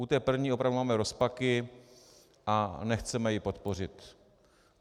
U té první opravdu máme rozpaky a nechceme ji podpořit.